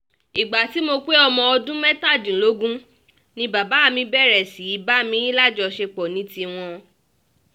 ìgbà tí mo pé ọmọ ọdún mẹ́tàdínlógún ni bàbá mi bẹ̀rẹ̀ sí í bá mi lájọṣepọ̀ ní tiwọn